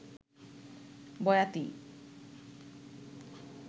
বয়াতী